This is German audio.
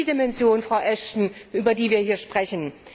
Das ist die Dimension, Frau Ashton, über die wir hier sprechen.